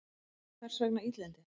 Hvers vegna illindi?